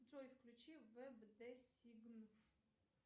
джой включи вэб де сигн